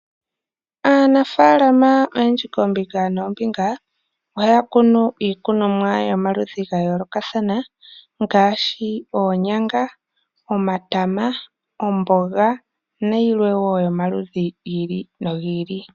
Aanafaalama oyendji koombinga noombinga, ohaya kunu iikununwa yomaludhi ga yoolokathana ngaashi oonyanga, omatama, omboga nayilwe wo yomaludhi gi ili nogi ili.